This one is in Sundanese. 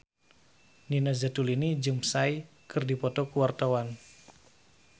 Nina Zatulini jeung Psy keur dipoto ku wartawan